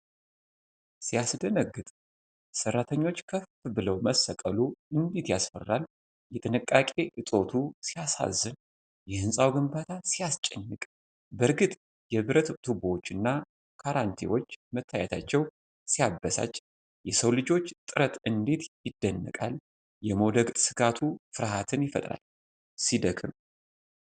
ሲያስደነግጥ! ሠራተኞች ከፍ ብለው መሰቀሉ እንዴት ያስፈራል! የጥንቃቄ እጦቱ ሲያሳዝን! የህንፃው ግንባታ ሲያስጨንቅ! በእርግጥ የብረት ቱቦዎችና ካራንቲዎች መታየታቸው ሲያበሳጭ! የሰው ልጆች ጥረት እንዴት ይደነቃል! የመውደቅ ስጋቱ ፍርሃትን ይፈጥራል! ሲደክም!